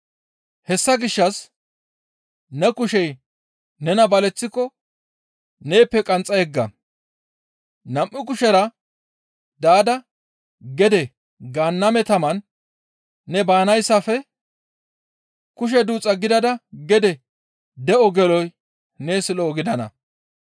Hessa gishshas ne kushey nena baleththiko neeppe qanxxa yegga; nam7u kushera daada gede Gaanname taman ne baanayssafe kushe duuxa gidada gede de7on geloy nees lo7o gidana.